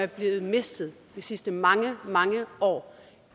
de har mistet de sidste mange mange år